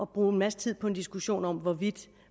bruge en masse tid på en diskussion om hvorvidt